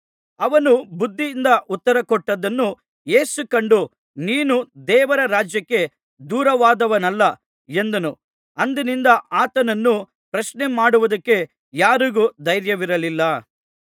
ಅವನು ಬುದ್ಧಿಯಿಂದ ಉತ್ತರಕೊಟ್ಟದ್ದನ್ನು ಯೇಸು ಕಂಡು ನೀನು ದೇವರ ರಾಜ್ಯಕ್ಕೆ ದೂರವಾದವನಲ್ಲ ಎಂದನು ಅಂದಿನಿಂದ ಆತನನ್ನು ಪ್ರಶ್ನೆಮಾಡುವುದಕ್ಕೆ ಯಾರಿಗೂ ಧೈರ್ಯವಿರಲಿಲ್ಲ